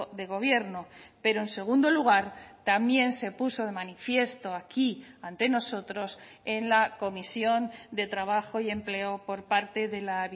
de gobierno pero en segundo lugar también se puso de manifiesto aquí ante nosotros en la comisión de trabajo y empleo por parte de la